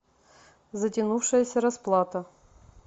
затянувшаяся расплата